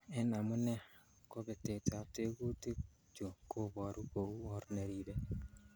En amune, kobetetab tekutik chu kobure kou or neribe.